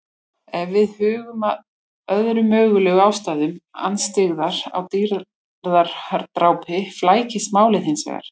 Ef við hugum að öðrum mögulegum ástæðum andstyggðar á dýradrápi flækist málið hins vegar.